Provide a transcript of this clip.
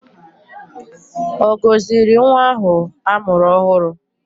Ọ gọziri nwa ahụ a mụrụ ọhụrụ?